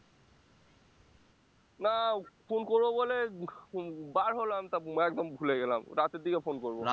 না phone করবো বলে উম বার হলাম, তারপর একদম ভুলে গেলাম রাতের দিকে phone করবো